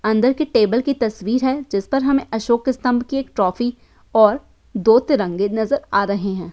अंदर के टेबल की तस्वीर है जिस पर हमे अशोक स्तम्भ की एक ट्रॉफी और दो तिरंगे नजर आ रहे हैं।